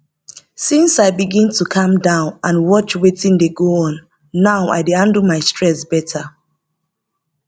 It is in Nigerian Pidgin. since i begin to calm down and watch wetin dey go on now i dey handle my stress better